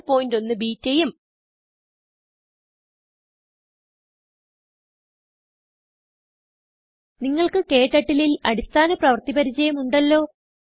081betaഉം നിങ്ങൾക്ക് ക്ടർട്ടിൽ ൽ അടിസ്ഥാന പ്രവർത്തി പരിചയം ഉണ്ടല്ലോ